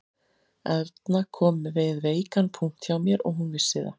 Erna kom við veikan punkt hjá mér og hún vissi það